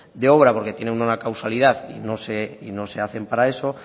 de obra porque tienen una causalidad y no se hacen para eso